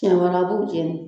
Siɲɛ wɛrɛ, a b'u jɛn de.